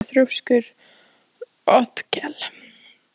Af hverju ertu svona þrjóskur, Otkell?